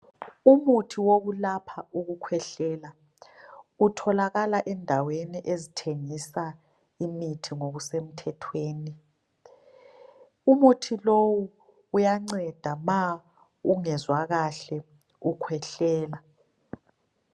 Umuthi wokulapha ukukhwehlela utholakala endaweni ezithengisa imithi ngokusemthethweni. Umuthi lowu uyanceda ma ungezwa kahle ukhwehlela.